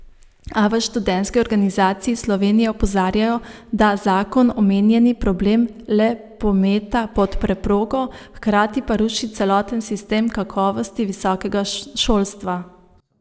A v Študentski organizaciji Slovenije opozarjajo, da zakon omenjeni problem le pometa pod preprogo, hkrati pa ruši celoten sistem kakovosti visokega šolstva.